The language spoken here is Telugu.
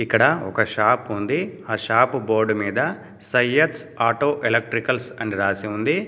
ఇక్కడ ఒక షాప్ ఉంది. ఆ షాపు బోర్డు మీద సయ్యద్స్ ఆటో ఎలక్ట్రికల్స్ అని రాసి ఉంది.